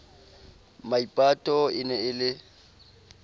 maipato e ne e le